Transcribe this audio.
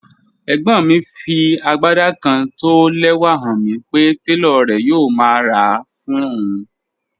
Ẹ̀gbọ́n mi fí agbádá kán tó ó lẹ́wà hàn mi pé tẹlọ̀ rè̩ yòò má rá a fún ọun.